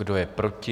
Kdo je proti?